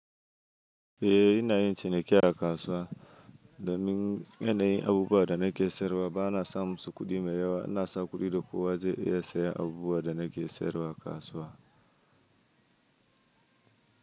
Eh ina yin ciniki a kasuwa, domin yanayin abubuwan da nake sayarwa ba na sa musu kuɗi mai yawa. Ina sa kuɗi da kowa zai iya sayan abubuwan da nake sayarwa a kasuwa.